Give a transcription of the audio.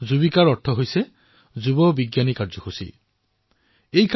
যুবিকাৰ অৰ্থ হলযুৱ বিজ্ঞানী কাৰ্যসূচী যোৱা বিজ্ঞানী Karyakram